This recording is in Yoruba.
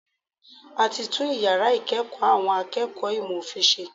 A ti tún yàrá ìkẹ́ẹ̀kọ̀ àwọn akẹ́kọ̀ọ́ ìmọ̀ òfin ṣe.